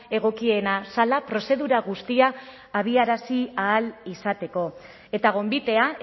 egokiena zela prozedura guztia abiarazi ahal izateko eta gonbitea